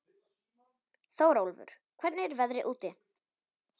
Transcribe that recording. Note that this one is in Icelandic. Þórólfur, hvernig er veðrið úti?